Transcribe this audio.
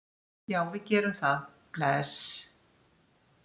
Já, við gerum það. Bless.